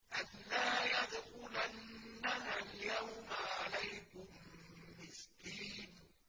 أَن لَّا يَدْخُلَنَّهَا الْيَوْمَ عَلَيْكُم مِّسْكِينٌ